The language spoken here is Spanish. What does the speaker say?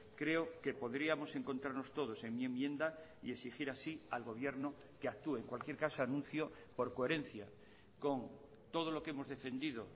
creo que podríamos encontrarnos todos en mi enmienda y exigir así al gobierno que actúe en cualquier caso anuncio por coherencia con todo lo que hemos defendido